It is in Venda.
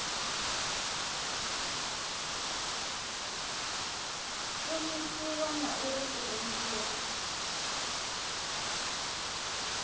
shumisiwa na uri i rengiwa